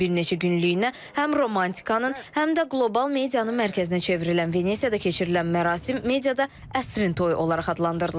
Bir neçə günlük həm romantikanın, həm də qlobal medianın mərkəzinə çevrilən Venesiyada keçirilən mərasim mediada əsrin toyu olaraq adlandırılır.